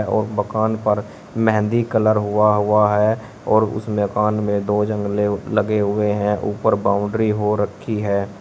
और मकान पर मेहंदी कलर हुआ हुआ है और उस मकान में दो जंगले लगे हुए हैं ऊपर बाउंड्री हो रखी है।